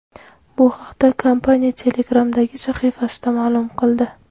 Bu haqda kompaniya Telegram’dagi sahifasida ma’lum qildi .